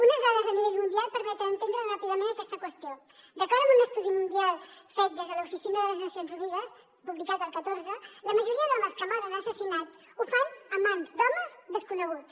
unes dades a nivell mundial permeten entendre ràpidament aquesta qüestió d’acord amb un estudi mundial fet des de l’oficina de les nacions unides publicat el catorze la majoria d’homes que moren assassinats ho fan a mans d’homes desconeguts